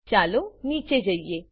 ચાલો નીચે જઈએ